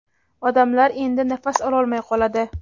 odamlar endi nafas ololmay qoladi.